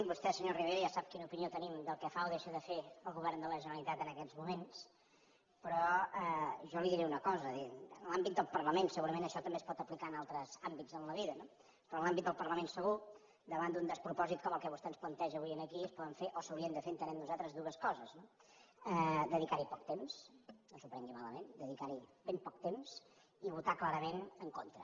vostè senyor rivera ja sap quina opinió tenim del que fa o deixa de fer el govern de la generalitat en aquests moments però jo li diré una cosa en l’àmbit del parlament segurament això també es pot aplicar en altres àmbits en la vida no però en l’àmbit del parlament segur davant d’un despropòsit com el que vostè ens planteja avui aquí es poden fer o s’haurien de fer entenem nosaltres dues coses no dedicar hi poc temps no s’ho prengui malament dedicar hi ben poc temps i votar hi clarament en contra